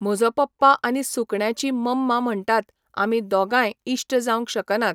म्हजो पप्पा आनी सुकण्याची मम्मा म्हणटातआमी दोगांय इश्ट जावंक शकनात.